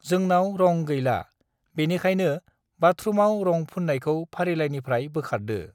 जोंनाव रं गैला। बेनिखायनो बाथ्रुमाव रं फुन्नायखौ फारिलाइलायनिफ्राय बोखारदो।